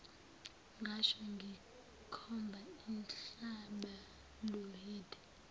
ngasho ngikhomba inhlabaluhide